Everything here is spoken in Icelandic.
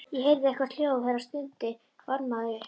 Ég heyrði eitthvert hljóð, herra stundi varðmaðurinn upp.